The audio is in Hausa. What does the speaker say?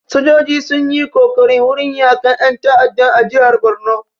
Sojoji sun yi kokari wurin yaƙan ƴan ta'adda a jihar barno